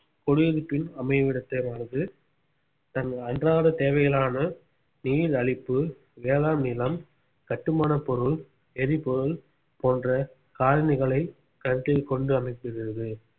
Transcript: குடியிருப்பின் அமைவிடத் தேர்வானது தன் அன்றாட தேவைகளான நீர் அளிப்பு வேளாண் நிலம் கட்டுமானப் பொருள் எரிபொருள் போன்ற காரணிகளைக் கருத்தில் கொண்டு அமைக்கிறது